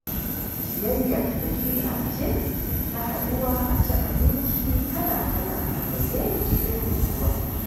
Ciyayya, dabi'a ce ta haɗuwa a ci abinci kala-kala a zaune cikin nutsuwa.